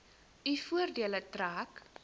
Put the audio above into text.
u voordeel trek